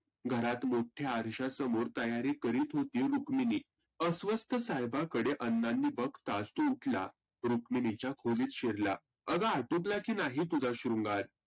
घरात मोठ्या आरश्यासमोर तयारी करित होती सुक्मिनी. अस्वस्थ साहेबांकडे अण्णानी बघताच तो उठला. रुक्मिनीच्या खोलीत शिरला आग आटोपला की नाही तुझा श्रुंगार?